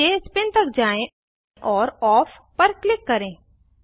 नीचे स्पिन तक जाएँ और ओफ पर क्लिक करें